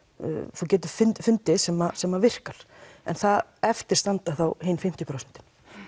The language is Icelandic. þú getur fundið sem sem virkar en eftir standa þá hin fimmtíu prósent